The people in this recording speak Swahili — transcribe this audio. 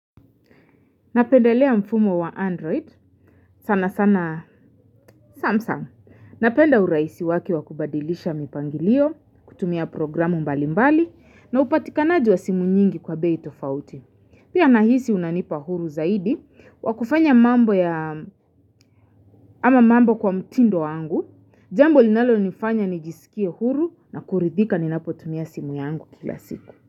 Napendelea mfumo wa Android, sana sana Samsung, napenda urahisi wake wakubadilisha mipangilio, kutumia programu mbali mbali, na upatikanaji wa simu nyingi kwa bei tofauti. Pia nahisi unanipa huru zaidi, wakufanya mambo ya, ama mambo kwa mtindo wangu, jambo linalo nifanya nijisikie huru na kuridhika ninapotumia simu yangu kila siku.